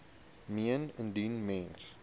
meen indien mens